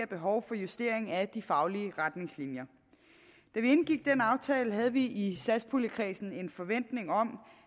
behovet for justering af de faglige retningslinjer da vi indgik den aftale havde vi i satspuljekredsen en forventning om